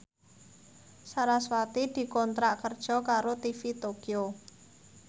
sarasvati dikontrak kerja karo TV Tokyo